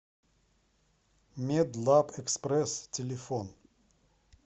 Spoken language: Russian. медлабэкспресс телефон